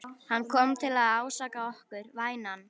Hann kom til að ásaka okkur, vænan.